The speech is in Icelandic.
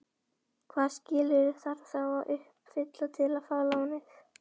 Hvaða skilyrði þarf þá að uppfylla til að fá lánið?